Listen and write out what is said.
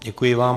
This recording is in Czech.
Děkuji vám.